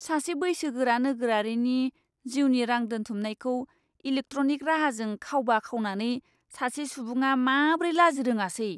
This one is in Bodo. सासे बैसोगोरा नोगोरारिनि जिउनि रां दोनथुमनायखौ इलेक्ट्रनिक राहाजों खावबा खावनानै सासे सुबुङा माब्रै लाजिरोङासै!